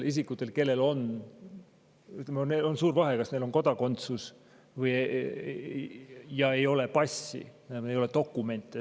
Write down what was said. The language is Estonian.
olla kodakondsus, aga ei ole passi, ei ole dokumenti.